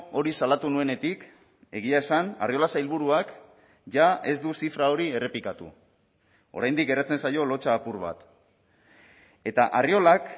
hori salatu nuenetik egia esan arriola sailburuak jada ez du zifra hori errepikatu oraindik geratzen zaio lotsa apur bat eta arriolak